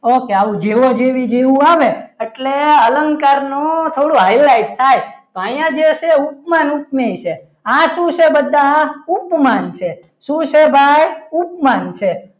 Okay આવું જેવો જેવી જેવું આવે એટલે અલંકારનું થોડું highlight થાય તો અહીંયા જે છે એ ઉપમાન ઉપમેય છે આ શું છે બધા ઉપમાન છે શું છે ભાઈ ઉપમાન છે.